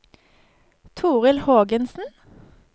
Torild Hågensen